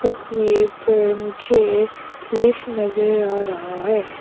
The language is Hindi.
तस्वीर पर मुझे लिफ्ट नजर आ रहा है।